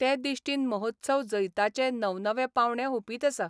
ते दिश्टीन महोत्सव जैताचे नवनवे पावंडे हुपीत आसा.